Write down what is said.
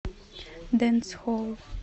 дэнсхолл